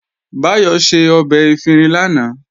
Báyọ̀ ṣe ọbẹ̀ efinrin lánàá